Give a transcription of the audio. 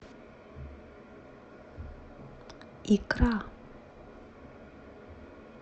икра